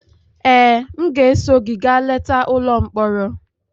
Ee, m ga-eso gị gaa leta ụlọ mkpọrọ.